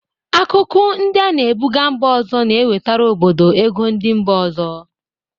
Akụkụ ndị a na-ebụga mba ọzọ na-ewetara obodo ego ndị mba ọzọ.